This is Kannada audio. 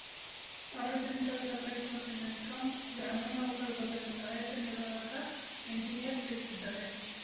ಸಾರ್ವಜನಿಕರು ಸಹಕರಿಸುವಂತೆ ಮೆಸ್ಕಾಂ ಗ್ರಾಮಿಣಉಪವಿಭಾಗದ ಸಹಾಯಕ ಕಾರ್ಯನಿರ್ವಾಹಕ ಎಂಜಿನಿಯರ್‌ ತಿಳಿಸಿದ್ದಾರೆ